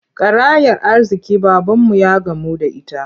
Karayar arziƙi babanmu ya gamu da ita.